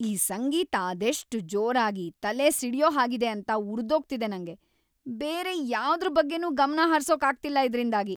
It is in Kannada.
ಈ ಸಂಗೀತ ಅದೆಷ್ಟ್‌ ಜೋರಾಗಿ, ತಲೆ ಸಿಡ್ಯೋ ಹಾಗಿದೆ ಅಂತ ಉರ್ದೋಗ್ತಿದೆ ನಂಗೆ.. ಬೇರೆ ಯಾವ್ದ್ರ್ ಬಗ್ಗೆನೂ ಗಮನ ಹರ್ಸೋಕ್ ಆಗ್ತಿಲ್ಲ ಇದ್ರಿಂದಾಗಿ.